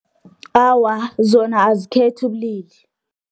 Awa, zona azikhethi ubulili.